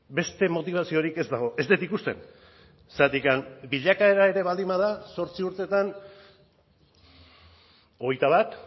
beste motibaziorik ez dago ez dut ikusten zergatik bilakaera ere baldin bada zortzi urtetan hogeita bat